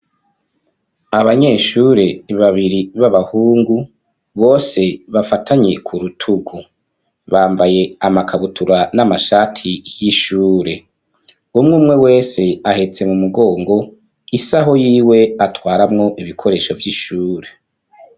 Abanyeshure babiri, b'abahungu, bose bafatanye ku rutuku; bambaye amakabutura, n'amashati y'ishure; umwe umwe wese, ahetse mu mugongo, isaho yiwe, atwaramwo ibikoresho, vy'ishure.